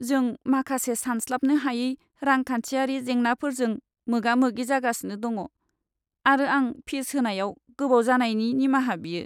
जों माखासे सानस्लाबनो हायै रांखान्थियारि जेंनाफोरजों मोगा मोगि जागासिनो दङ आरो आं फिस होनायाव गोबाव जानायनि निमाहा बियो।